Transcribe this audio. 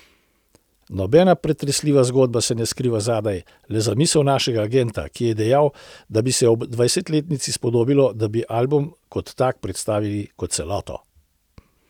Nobena pretresljiva zgodba se ne skriva zadaj, le zamisel našega agenta, ki je dejal, da bi se ob dvajsetletnici spodobilo, da bi album kot tak predstavili kot celoto.